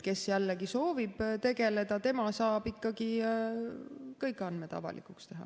Kes soovib tegeleda, tema saab ikkagi kõik andmed avalikuks teha.